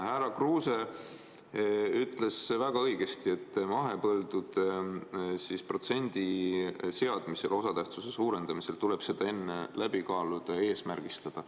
Härra Kruuse ütles väga õigesti, et mahepõldude protsendi seadmisel, osatähtsuse suurendamisel tuleb see enne läbi kaaluda ja eesmärgistada.